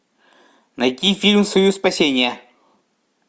найти фильм союз спасения